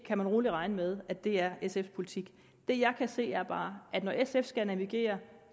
kan rolig regne med at det er sfs politik det jeg kan se er bare at når sf skal navigere